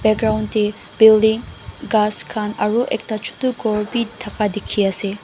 ground dae building ghass khan aro ekta chutu kor bi taka diki asae.